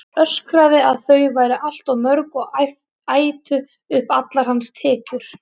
Öskraði að þau væru allt of mörg og ætu upp allar hans tekjur.